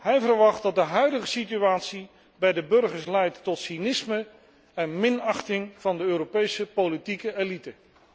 Hij verwacht dat de huidige situatie bij de burgers leidt tot cynisme en minachting van de Europese politieke elite.